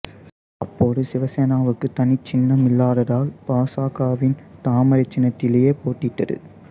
அப்போது சிவசேனாவுக்குத் தனி சின்னம் இல்லாததால் பாசகவின் தாமரை சின்னத்திலேயே போட்டியிட்டது